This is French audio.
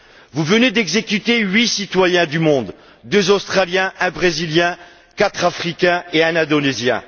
Vous venez d'exécuter huit citoyens du monde deux Australiens, un Brésilien, quatre Africains et un Indonésien.